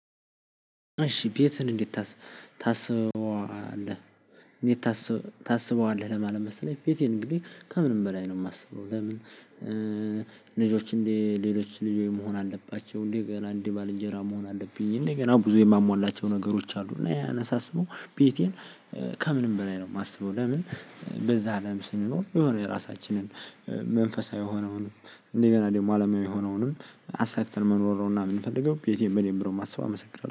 እሺ ቤትህን እንዴት ታስበዋለህ እንዴት ታስበዋለህ? ለማለት መሰለኝ ቤቴን እንግዲህ ከምንም በላይ ነው የማስበው። ለምን? ልጆች እንዴ ሌሎች ልጅ መሆን አለባቸው? እንዴ ገና እንዴ ባልንጀራ መሆን አለብኝ። እንዴ ገና ብዙ የማሟላቸው ነገሮች አሉ። እና ያነሳሰበው ቤቴን ከምንም በላይ ነው የማስበው። ለምን? በዛ አለም ስንኖር የሆነ የራሳችንን መንፈሳዊ ሆነውን እንደገና ደግሞ አለማዊ ሆነውንም አሳክተን መኖር ነው። እና የምንፈልገው ቤቴን በደንብ ነው የማስበው። አመሰግናለሁ